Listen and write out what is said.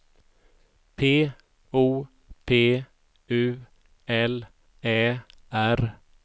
P O P U L Ä R